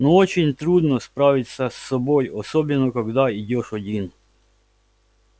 но очень трудно справиться с собой особенно когда идёшь один